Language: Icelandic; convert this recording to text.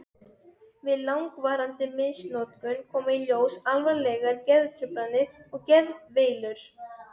Við langvarandi misnotkun koma í ljós alvarlegar geðtruflanir og geðveilur.